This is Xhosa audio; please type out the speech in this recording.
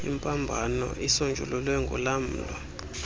imbambano isonjululwe ngolamlo